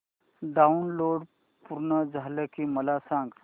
download पूर्ण झालं की मला सांग